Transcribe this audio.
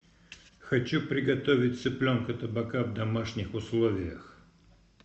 хочу приготовить цыпленка табака в домашних условиях